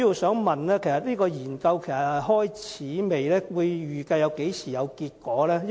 這項研究是否已經展開，預計何時會有結果？